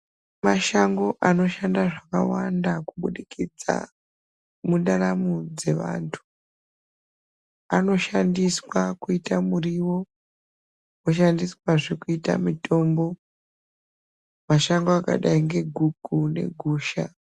Mashango anoshanda zvakawanda kuburikidza mundaramo dzevantu anoshandiswa kuita muriwo anoshandiswazve kuita mutombo mashango akadai ngeguku negusha.